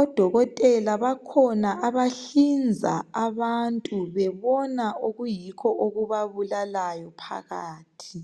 Odokotela bakhona abahlinza abantu bebona okuyikho okubabulalayo phakathi.